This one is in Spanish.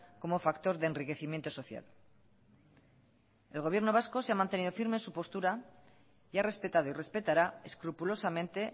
como factor de enriquecimiento social el gobierno vasco se ha mantenido firme en su postura y ha respetado y respetará escrupulosamente